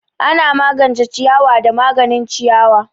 Ana magance ciyawa da maganin ciyawa.